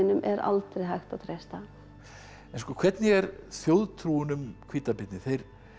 er aldrei hægt að treysta en hvernig er þjóðtrúin um hvítabirni þeir